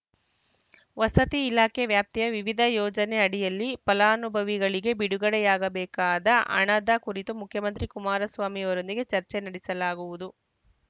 ವಸತಿ ಇಲಾಖೆ ವ್ಯಾಪ್ತಿಯ ವಿವಿಧ ಯೋಜನೆ ಅಡಿಯಲ್ಲಿ ಫಲಾನುಭವಿಗಳಿಗೆ ಬಿಡುಗಡೆಯಾಗಬೇಕಾದ ಹಣದ ಕುರಿತು ಮುಖ್ಯಮಂತ್ರಿ ಕುಮಾರಸ್ವಾಮಿಯೊಂದಿಗೆ ಚರ್ಚೆ ನಡೆಸಲಾಗುವುದು